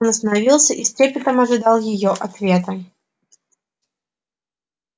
он остановился и с трепетом ожидал её ответа